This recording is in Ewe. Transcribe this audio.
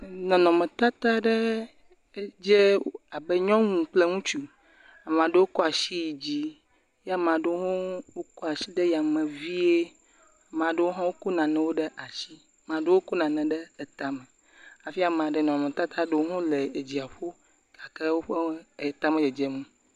Nɔnɔmetata ɖe, edze abe nyɔnu kple ŋutsu, amea ɖewo kɔ asi yi dzi ye amea ɖewo hã wokɔ asi ɖe yame vie, ame ɖewo hã wokɔ nanewo ɖe asi, amea ɖewo kɔ nane ɖe tame hafi amea ɖewo, nɔnɔmetata ɖewo hã le edziaƒo gake woƒe eta medzedzem o.